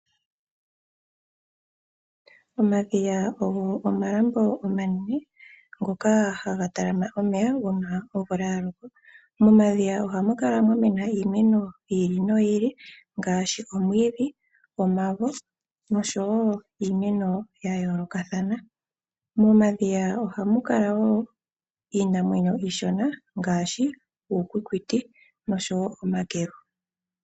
Omadhiya ogo omalambo omanene, ngoka ha ga talama omeya. Uuna omvula ya loka. Momadhiya oha mu kala muna iimeno yi ili, noyi ili, ngaashi omavo, omwiidhi, iimeno ya yoolkathana. Momadhiya oha mu kala woo iinamwenyo iishona ngaashi, uukwikiti nosho woo omakelu.